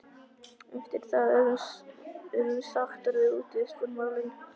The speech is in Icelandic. Eftir það urðum sáttar við útivistarmálin.